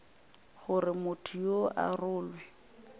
gore motho yoo a rolwe